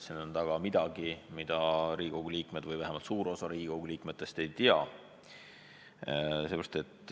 Siin on taga midagi, mida Riigikogu liikmed või vähemalt suur osa Riigikogu liikmetest ei tea.